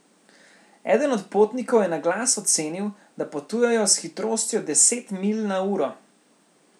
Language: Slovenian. Eden od potnikov je na glas ocenil, da potujejo s hitrostjo deset milj na uro.